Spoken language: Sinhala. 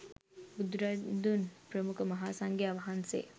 බුදුරදුන් ප්‍රමුඛ මහාසංඝයා වහන්සේ